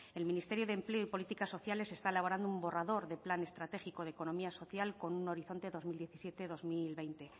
el ministerio de empleo y políticas sociales está elaborando un borrador de plan estratégico de economía social con un horizonte dos mil diecisiete dos mil veinte